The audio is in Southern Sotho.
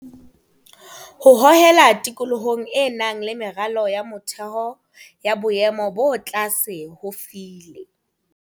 Ho holela tikolohong e nang le meralo ya motheo ya boemo bo tlase ho file.